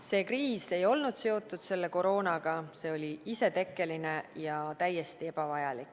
See kriis ei olnud seotud koroonaga, see oli isetekkeline ja täiesti ebavajalik.